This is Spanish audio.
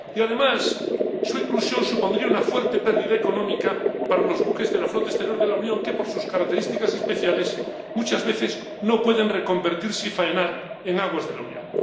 y, en tercer lugar, supondría una fuerte pérdida económica para los buques de la flota exterior de la Unión, que, por sus características especiales, muchas veces no pueden reconvertirse y faenar en aguas de la Unión.